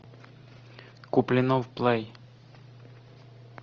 куплинов плей